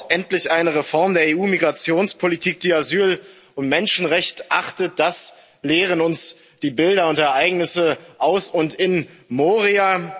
Es braucht endlich eine Reform der EU Migrationspolitik, die Asyl und Menschenrechte achtet, das lehren uns die Bilder und Ereignisse aus und in Moria.